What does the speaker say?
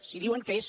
si diuen que és